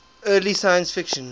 early science fiction